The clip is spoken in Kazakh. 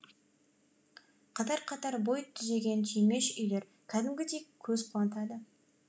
қатар қатар бой түзеген түймеш үйлер кәдімгідей көз қуантады